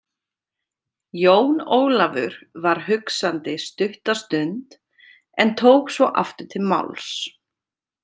Jón Ólafur var hugsandi stutta stund en tók svo aftur til máls.